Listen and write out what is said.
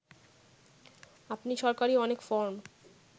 আপনি সরকারি অনেক ফরম